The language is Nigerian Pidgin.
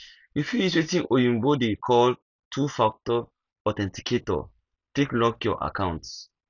you fit use wetin oyibo dey call two factor authenticator take lock your accounts